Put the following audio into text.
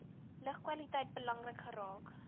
lugkwaliteit belangrik geraak